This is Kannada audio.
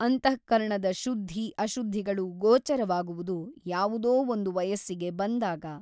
ಅಂತಃಕರಣದ ಶುದ್ಧಿ ಅಶುದ್ಧಿಗಳು ಗೋಚರವಾಗುವುದು ಯಾವುದೋ ಒಂದು ವಯಸ್ಸಿಗೆ ಬಂದಾಗ.